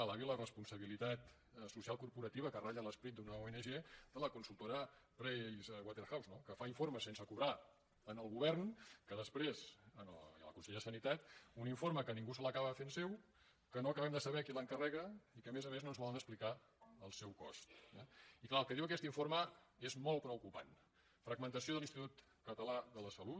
que alabi la responsabilitat social corporativa que ratlla l’esperit d’una ong de la consultora pricewatherhouse no que fa informes sense cobrar al govern que després a la conselleria de sanitat un informe que ningú se l’acabava fent seu que no acabem de saber qui l’encarrega i que a més a més no ens volen explicar el seu cost eh i clar el que diu aquest informe és molt preocupant fragmentació de l’institut català de la salut